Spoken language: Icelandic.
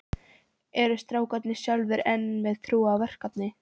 Eru strákarnir sjálfir enn með trú á verkefnið?